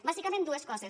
bàsicament dues coses